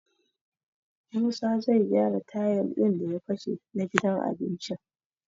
Musa zai gyara tayil ɗin da ya fashe na gidan abincin.